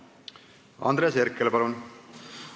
Andres Herkel, palun!